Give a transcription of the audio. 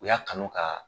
U y'a kanu ka